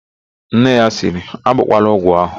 Nne ya sịrị, "agbọkwala ọgwụ ahụ"!